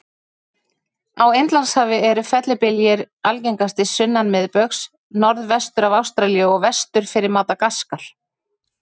Á Indlandshafi eru fellibyljir algengastir sunnan miðbaugs, norðvestur af Ástralíu og vestur fyrir Madagaskar.